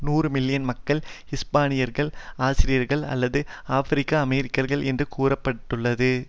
நூறு மில்லியன் மக்கள் ஹிஸ்பானியர்கள் ஆசியர்கள் அல்லது ஆபிரிக்கஅமெரிக்கர்கள் என்று கூற பட்டுள்ளது